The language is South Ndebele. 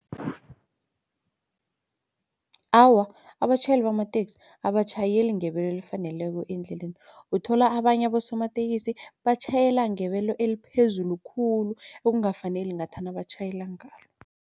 Awa abatjhayeli bamateksi abatjhayeli ngebelo elifaneleko endleleni. Uthola abanye abosomatekisi batjhayela ngebelo eliphezulu khulu okungakafaneli ngathana batjhayela ngalo.